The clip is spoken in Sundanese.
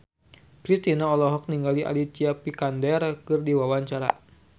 Kristina olohok ningali Alicia Vikander keur diwawancara